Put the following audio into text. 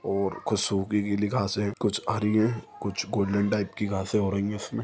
और कुछ सुखी गीली घासे कुछ हरी हैं कुछ गोल्डन टाइप की घासे हो रही हैं इसमें--